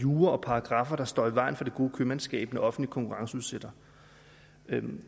jura og paragraffer står i vejen for det gode købmandskab offentlige konkurrenceudsætter